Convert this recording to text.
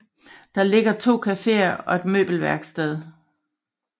Der ligger to caféer og et møbelværksted